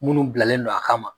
Minnu bilalen non an ma.